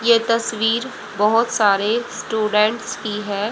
ये तस्वीर बहोत सारे स्टूडेंट की है।